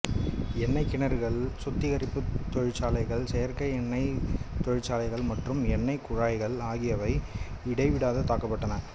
எண்ணெய்க் கிணறுகள் சுத்திகரிப்புத் தொழிற்சாலைகள் செயற்கை எண்ணெய்த் தொழிற்சாலைகள் மற்றும் எண்ணெய்க் குழாய்கள் ஆகியவை இடைவிடாது தாக்கப்பட்டன